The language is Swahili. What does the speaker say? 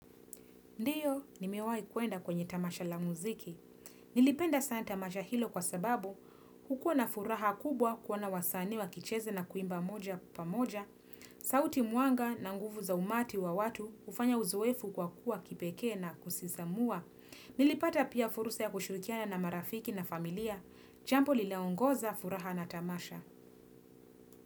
Ndiyo, nimewahi kwenda kwenye tamasha la muziki. Nilipenda sana tamasha hilo kwa sababu, hukuwa na furaha kubwa kuona wasanii wakicheza na kuimba moja kwa moja. Sauti mwanga na nguvu za umati wa watu hufanya uzoefu kwa kuwa kipekee na kusisimua. Nilipata pia fursa ya kushirikiana na marafiki na familia, jambo lilliloongeza furaha na tamasha.